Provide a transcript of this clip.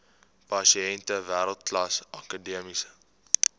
pasiënte wêreldklas akademiese